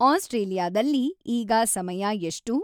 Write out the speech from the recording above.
ಆಸ್ಟ್ರೇಲಿಯಾದಲ್ಲಿ ಈಗ ಸಮಯ ಎಷ್ಟು